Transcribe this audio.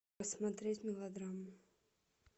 посмотреть мелодраму